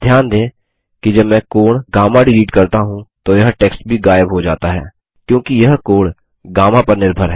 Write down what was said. ध्यान दें कि जब मैं कोण गामा डिलीट करता हूँ तो यह टेक्स्ट भी गायब हो जाता है क्योंकि यह कोण गामा पर निर्भर है